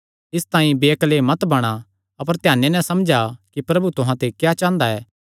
इसतांई बेअक्ले मत बणा अपर ध्याने नैं समझा कि प्रभु तुहां ते क्या चांह़दा ऐ